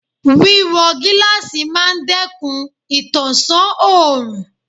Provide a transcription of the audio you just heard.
Wíwọ gíláàsì máa dẹ́kun ìtànṣán òrùn.